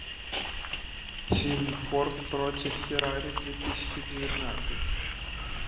фильм форд против феррари две тысячи девятнадцать